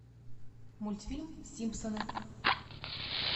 мультфильм симпсоны